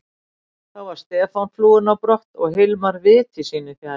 Þá var Stefán flúinn á brott og Hilmar viti sínu fjær.